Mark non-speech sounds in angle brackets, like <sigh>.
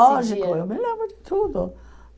<unintelligible> Lógico, eu me lembro de tudo.